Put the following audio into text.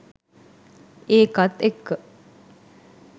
ඒකත් එක්ක